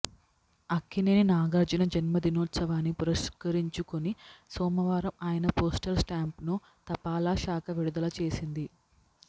అక్కినేని నాగార్జున జన్మ దినోత్సవాన్ని పురస్కరించుకొని సోమవారం ఆయన పోస్టల్ స్టాంప్ను తపాలా శాఖ విడుదల చేసింది